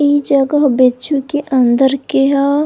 ई जगह बेच्चु के अंदर के ह।